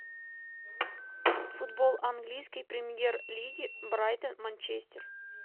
футбол английской премьер лиги брайтон манчестер